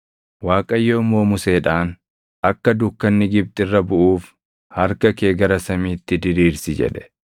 Waaqayyo immoo Museedhaan, “Akka dukkanni Gibxi irra buʼuuf harka kee gara samiitti diriirsi” jedhe.